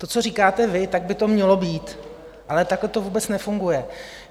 To, co říkáte vy, tak by to mělo být, ale takhle to vůbec nefunguje.